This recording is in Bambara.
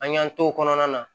An y'an t'o kɔnɔna na